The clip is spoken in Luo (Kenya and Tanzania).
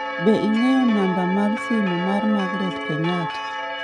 Be ing'eyo namba ma simu ma magaret Kenyatta?